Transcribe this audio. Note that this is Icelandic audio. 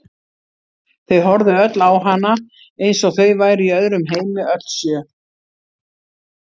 Þau horfðu öll á hana eins og þau væru í öðrum heimi, öll sjö.